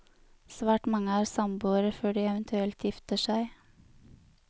Svært mange er samboere før de eventuelt gifter seg.